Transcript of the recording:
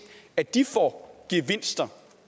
at de får gevinster